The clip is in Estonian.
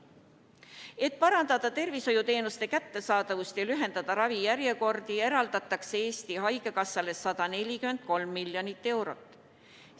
Et parandada tervishoiuteenuste kättesaadavust ja lühendada ravijärjekordi, eraldatakse Eesti Haigekassale 143 miljonit eurot.